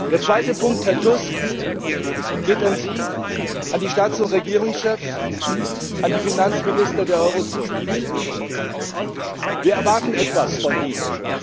Der zweite Punkt, Herr Tusk, geht an Sie, an die Staats und Regierungschefs und an die Finanzminister der Eurozone Wir erwarten etwas von Ihnen.